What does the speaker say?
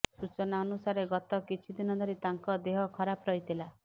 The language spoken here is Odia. ସୂଚନା ଅନୁସାରେ ଗତ କିଛିଦିନ ଧରି ତାଙ୍କ ଦେହ ଖରାପ ରହିଥିଲା